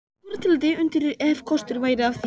Góðar til að deyja undir, ef kostur væri á því.